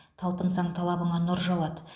талпынсаң талабыңа нұр жауады